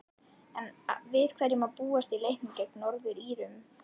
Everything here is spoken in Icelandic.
En við hverju má búast í leiknum gegn Norður-Írum?